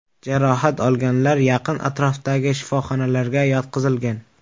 Jarohat olganlar yaqin atrofdagi shifoxonalarga yotqizilgan.